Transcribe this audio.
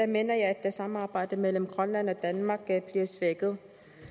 mener jeg at samarbejdet mellem grønland og danmark er blevet svækket